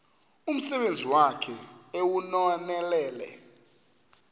umsebenzi wakhe ewunonelele